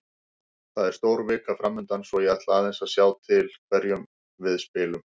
Það er stór vika framundan svo ég ætla aðeins að sjá til hverjum við spilum.